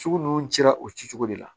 Sugu ninnu cira o ci cogo de la